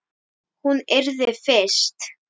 Hún yrði fyrst.